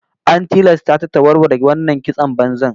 An tilasta ta ta warware wannan kiston banzan